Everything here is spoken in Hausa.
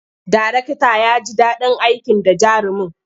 Darektan ya ji daɗin aiki da jarumin.